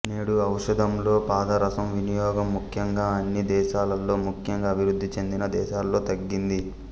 నేడు ఔషధంలో పాదరసం వినియోగం ముఖ్యంగా అన్ని దేశాలలో ముఖ్యంగా అభివృద్ధి చెందిన దేశాలలో తగ్గింది